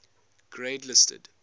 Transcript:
grade listed